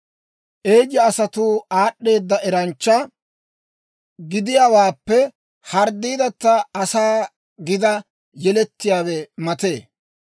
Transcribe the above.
Eeya Asay aad'd'eedda eranchcha gidiyaawaappe dembbaa harii asaa gidi yelettiyaawe matee.